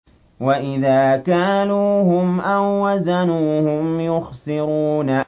وَإِذَا كَالُوهُمْ أَو وَّزَنُوهُمْ يُخْسِرُونَ